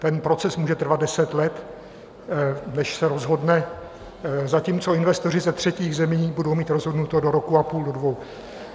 Ten proces může trvat deset let, než se rozhodne, zatímco investoři ze třetích zemí, budou mít rozhodnuto do roku a půl, do dvou.